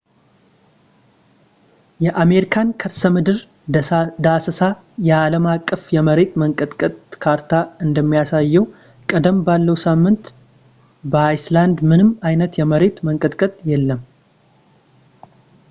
የአሜሪካን የከርሰምድር ዳሰሳ የአለም አቀፍ የመሬት መንቀጥቀጥ ካርታ እንደሚያሳየው ቀደም ባለው ሳምንት በአይስላድ ምንም አይነት የመሬት መንቀጥቀጥ የለም